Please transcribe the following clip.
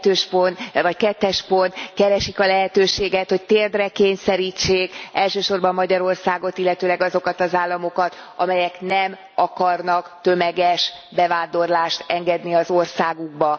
2. pont Keresik a lehetőséget, hogy térdre kényszerítsék elsősorban Magyarországot, illetőleg azokat az államokat, amelyek nem akarnak tömeges bevándorlást engedni az országukba.